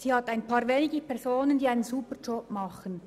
Sie hat einige wenige Personen, die einen ausgezeichneten Job machen.